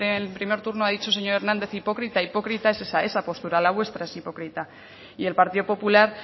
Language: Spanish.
el primer turno ha dicho señor hernández hipócrita hipócrita es esa esa postura la vuestra es hipócrita y el partido popular